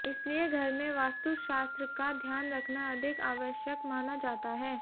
इसलिए घर में वास्तु शास्त्र का ध्यान रखना अधिक आवश्यक माना जाता है